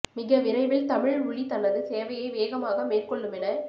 மிக விரைவில் தமிழ் உளி தனது சேவையை வேகமாக மேற் கொள்ளுமென